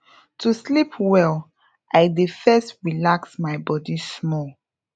to sleep well i dey first relax my body small